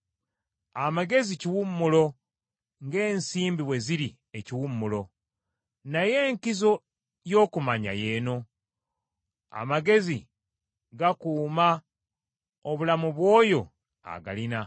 Amagezi kiwummulo, ng’ensimbi bwe ziri ekiwummulo, naye enkizo y’okumanya y’eno: amagezi gakuuma obulamu bw’oyo agalina.